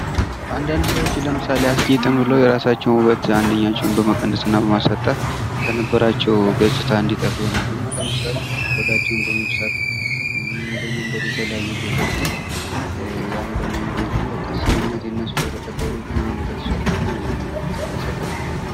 አንዳንድ ሰዎች ለምሳሌ አስጌጥን ብለው የራሳቸው ውበት አንድኛቸውን በመቀነስ እና በማሳጣት ከነበራችሁ ገጽታ እንዲጠፉ ይሆናሉና ለምሳሌ ቆዳቸውን በመብሳት ወይም በመንደል የተለያዩ ቦታዎች ላይ እያለን በማይበት ጊዜ እነዚህ ለተቀደዱት ለተሰፉት እኔ ይሰቀጥጠኛል።